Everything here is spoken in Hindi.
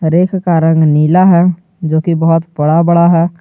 रेख का रंग नीला है जोकि बहुत बड़ा बड़ा है।